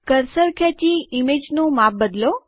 cursor ખેંચી ઇમેજનું માપ બદલો